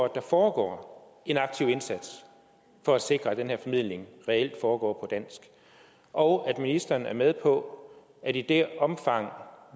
at der foregår en aktiv indsats for at sikre at den her formidling reelt foregår dansk og at ministeren er med på at i det omfang